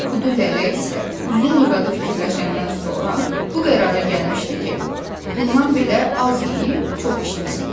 Kudu Lələ isə uzun-uzadı fikirləşəndən sonra bu qərara gəlmişdi ki, bundan belə az yeyib çox işləsin.